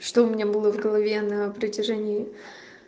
что у меня было в голове на протяжении